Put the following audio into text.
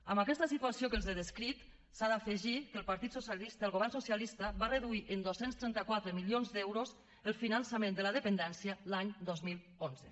a aquesta situació que els he descrit s’ha d’afegir que el partit socialista el govern socialista va reduir en dos cents i trenta quatre milions d’euros el finançament de la dependència l’any dos mil onze